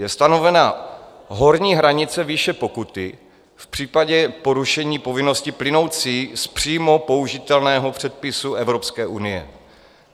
Je stanovena horní hranice výše pokuty v případě porušení povinnosti plynoucí z přímo použitelného předpisu Evropské unie.